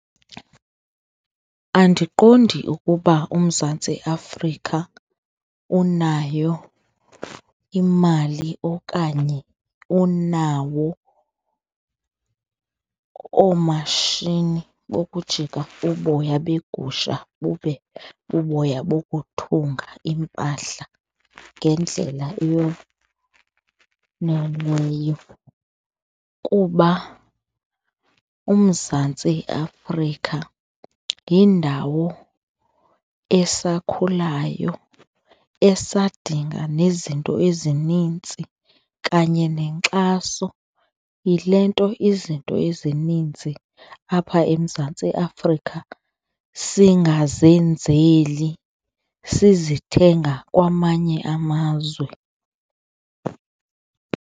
Andiqondi ukuba uMzantsi Afrika unayo imali okanye unawo oomashini bokujika uboya beegusha bube buboya bokuthunga iimpahla ngendlela yoneleyo kuba uMzantsi Afrika yindawo asakhulayo, esadinga nezinto ezinintsi kanye nenkxaso yile nto izinto ezininzi apha eMzantsi Afrika singazenzeli sizithenga kwamanye amazwe.